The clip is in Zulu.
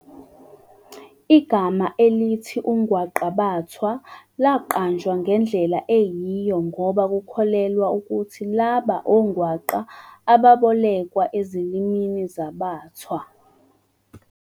Igama elithi "ungwaqabathwa" laqanjwa ngendlela eyiyo ngoba kukholelwa ukuthi labo ongwaqa bebolekwa ezilimini zabaThwa.